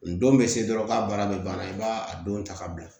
N don bɛ se dɔrɔn k'a baara bɛ ban i b'a a don ta ka bila